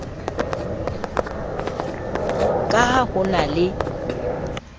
ka ha ho na le